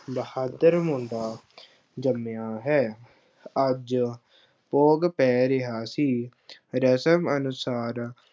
ਬਹਾਦਰ ਮੁੰਡਾ ਜੰਮਿਆ ਹੈ, ਅੱਜ ਭੋਗ ਪੈ ਗਿਆ ਸੀ ਰਸਮ ਅਨੁਸਾਰ